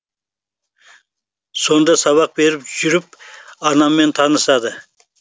сонда сабақ беріп жүріп анаммен танысады